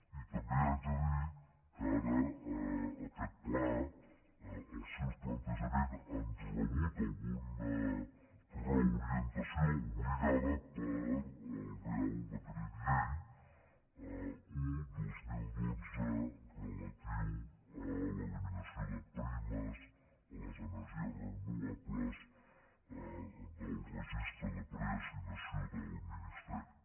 i també haig de dir que ara aquest pla els seus plantejaments han rebut alguna reorientació obligada pel reial decret llei un dos mil dotze relatiu a l’eliminació de primes a les energies renovables del registre de preassignació del ministeri